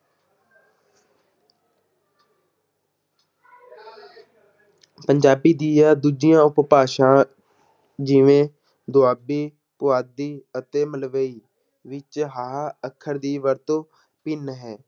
ਪੰਜਾਬੀ ਦੀਆਂ ਦੂਜੀਆਂ ਉਪਭਾਸ਼ਾ ਜਿਵੇਂ ਦੁਆਬੀ, ਪੁਆਧੀ ਅਤੇ ਮਲਵਈ ਵਿੱਚ ਹਾਹਾ ਅੱਖਰ ਦੀ ਵਰਤੋਂ ਭਿੰਨ ਹੈ।